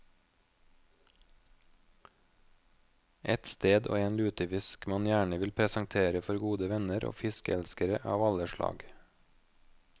Et sted og en lutefisk man gjerne vil presentere for gode venner og fiskeelskere av alle slag.